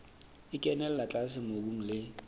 e kenella tlase mobung le